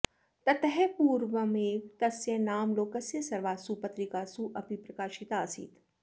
ततः पूर्वमेव तस्य नाम लोकस्य सर्वासु पत्रिकासु अपि प्रकाशिता आसीत्